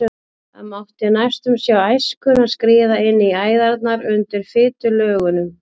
Það mátti næstum sjá æskuna skríða inn í æðarnar undir fitulögunum.